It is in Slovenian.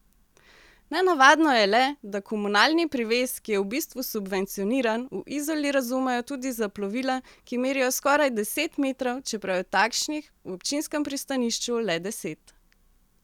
Nenavadno je le, da komunalni privez, ki je v bistvu subvencioniran, v Izoli razumejo tudi za plovila, ki merijo skoraj deset metrov, čeprav je takšnih v občinskem pristanišču le deset.